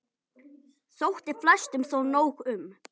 Þótti flestum þó nóg um.